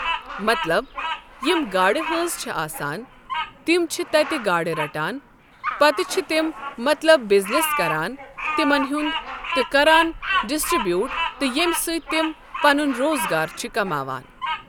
مطلب یم گاڈٕ ہٲنٛز چھ آسان تِم چھِ تتہ گاڑٕ رَٹان پتہٕ چھ تم مطلب بزنٮ۪س کران تمن ہنٛد تہٕ کران ڈسٹِرٛبیوٗٹ تہٕ ییٚمہٕ سۭتۍ تِم پنن روزگار چھ کماوان۔